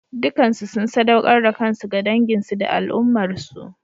Dukansu sun saɗaukar da kansu ga danginsu da al'ummarsu.